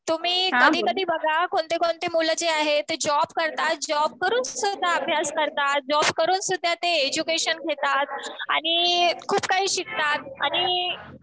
तुम्ही कधी कधी बघा. कोणतेकोणते मुलं जे आहे ते जॉब करतात. जॉब करून सुद्धा अभ्यास करतात. जॉब करून सुद्धा ते एज्युकेशन घेतात. आणि खूप काही शिकतात. आणि